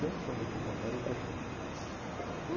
Tem uma fama que Campari é broxante.